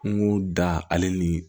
N ko da ale ni